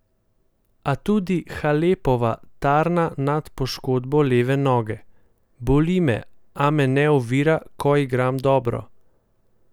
A tudi Halepova tarna nad poškodbo leve noge: "Boli me, a me ne ovira, ko igram dobro.